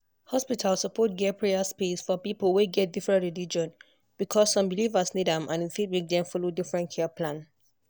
hospital suppose get prayer space for people wey get different religion because some believers need am and e fit make dem follow different care plan.